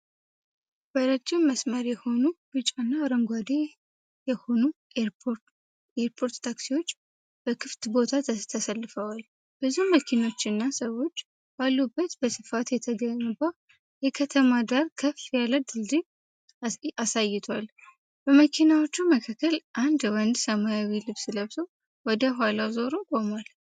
በረዥም መስመር የሆኑ ቢጫና አረንጓዴ የሆኑ የኤርፖርት ታክሲዎች በክፍት ቦታ ተሰልፈዋል። ብዙ መኪኖች እና ሰዎች ባሉበት በስፋት የተገነባ የከተማ ዳራ ከፍ ያለ ድልድይ አሳይቷል። በመኪናዎቹ መካከል አንድ ወንድ ሰማያዊ ልብስ ለብሶ ወደ ኋላው ዞሮ ቆሟል።